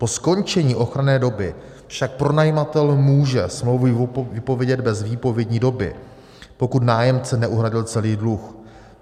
Po skončení ochranné doby však pronajímatel může smlouvu vypovědět bez výpovědní doby, pokud nájemce neuhradil celý dluh.